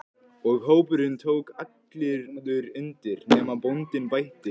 Og hópurinn tók allur undir: nema bóndinn bætti.